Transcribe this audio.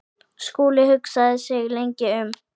Skúli hugsaði sig lengi um.